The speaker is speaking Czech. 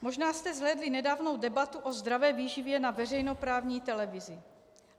Možná jste zhlédli nedávnou debatu o zdravé výživě na veřejnoprávní televizi.